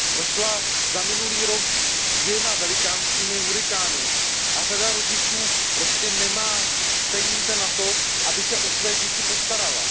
Prošla za minulý rok dvěma velikánskými hurikány a řada rodičů prostě nemá peníze na to, aby se o své děti postarala.